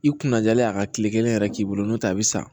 I kunna jalen a ka kile kelen yɛrɛ k'i bolo n'o tɛ a bi sa